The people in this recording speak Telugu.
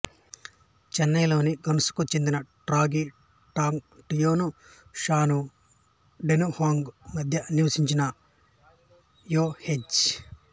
చైనాలోని గన్సుకు చెందిన టాంగ్రి టాగు టియాను షాను డన్హువాంగు మధ్య నివసించిన యుహెజ్జి